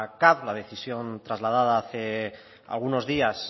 caf la decisión trasladada hace algunos días